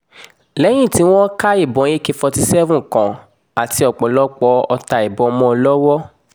lẹ́yìn tí wọ́n ka ìbọn ak forty seven kan àti ọ̀pọ̀lọpọ̀ ọta ìbọn mọ́ ọn lọ́wọ́